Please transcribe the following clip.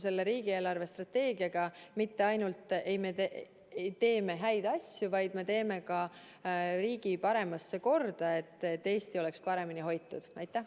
Selle riigi eelarvestrateegiaga me mitte ainult ei tee häid asju, vaid me teeme ka riigi korda, et Eesti oleks paremini hoitud.